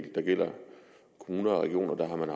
der gælder kommuner og regioner har man